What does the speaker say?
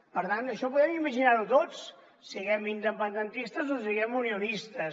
per tant això ho podem imaginar tots siguem independentistes o siguem unionistes